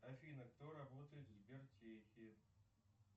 афина кто работает в сбертехе